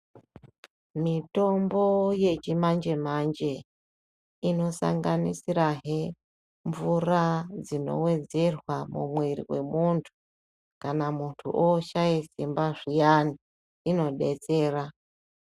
Mitombo yechimanje manje inosanganisirahe mvura dzinowedzerwa mumwiri mwemunthu kana munthu oshaye simba zviyani, inodetsera.